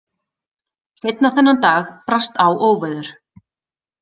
Seinna þennan dag brast á óveður.